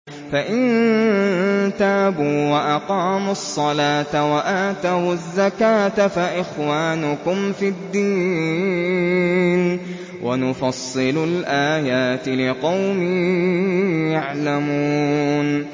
فَإِن تَابُوا وَأَقَامُوا الصَّلَاةَ وَآتَوُا الزَّكَاةَ فَإِخْوَانُكُمْ فِي الدِّينِ ۗ وَنُفَصِّلُ الْآيَاتِ لِقَوْمٍ يَعْلَمُونَ